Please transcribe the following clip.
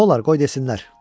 Nolar, qoy desinlər.